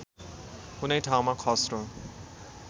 कुनै ठाउँमा खस्रो